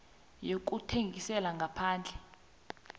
yokuthengisela ngaphandle